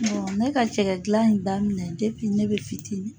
ne ka cɛkɛ dilan in daminɛ ne bɛ fitinin.